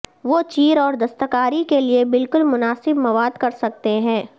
وہ چیر اور دستکاری کے لئے بالکل مناسب مواد کر سکتے ہیں